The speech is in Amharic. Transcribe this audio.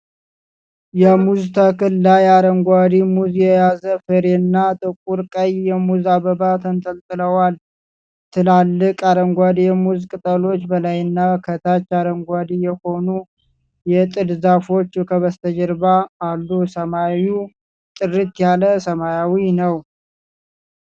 የሙዝ ተክል ላይ አረንጓዴ ሙዝ የያዘ ፍሬና ጥቁር ቀይ የሙዝ አበባ ተንጠልጥለዋል። ትላልቅ አረንጓዴ የሙዝ ቅጠሎች በላይና ከታች አረንጓዴ የሆኑ የጥድ ዛፎች ከበስተጀርባ አሉ። ሰማዩ ጥርት ያለ ሰማያዊ ነው።